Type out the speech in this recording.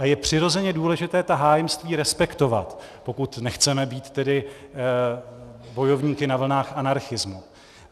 A je přirozeně důležité ta hájemství respektovat, pokud nechceme být tedy bojovníky na vlnách anarchismu.